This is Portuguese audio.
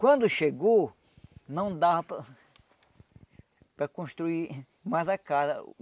Quando chegou, não dava para para construir mais a casa.